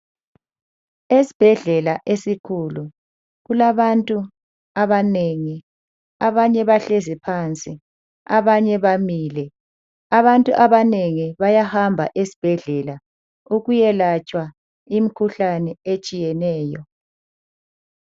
Esibhedlela esikhulu kulabantu abanengi, abanye bahlezi phansi abanye bamile. Abantu abanengi bayahamba esibhedlela ukuyalatshwa imikhuhlane etshiyeneyo.